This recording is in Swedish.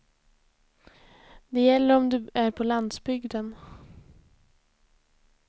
Det gäller om du är på landsbygden.